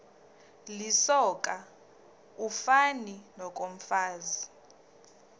lisoka ufani nokomfazi